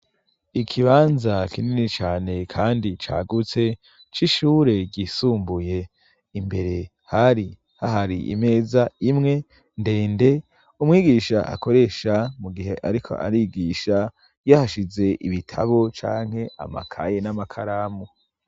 Ikibanza kinini cane kandi cagutse c'ishure ryisumbuye, imbere hari hahari imeza imwe ndende umwigisha akoresha mu gihe ariko arigisha yahashize ibitabo canke amakaye n'amakaramu.